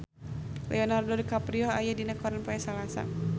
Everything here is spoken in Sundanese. Leonardo DiCaprio aya dina koran poe Salasa